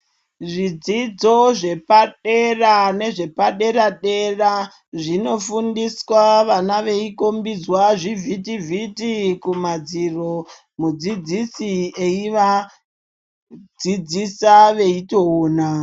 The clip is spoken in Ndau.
Zvidzidzo zvepadera nezvepadera dera zvinofundiswa vana veikombidzwa zvivhiti vhiti kumadziro mudzidzisi eivadzidzisa veitoona.